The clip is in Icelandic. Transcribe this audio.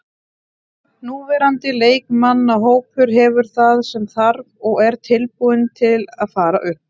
Núverandi leikmannahópur hefur það sem þarf og er tilbúinn til að fara upp.